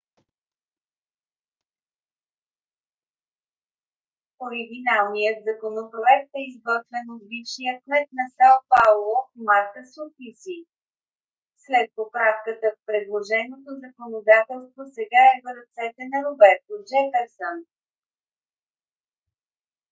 оригиналният законопроект е изготвен от бившия кмет на сао пауло марта суплиси. след поправката предложеното законодателство сега е в ръцете на роберто джеферсън